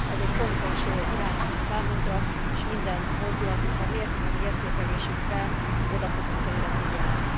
Ez egy fontos iránytű számunkra, és minden mozdulatunkban, minden értékelésünkben oda fogunk erre figyelni.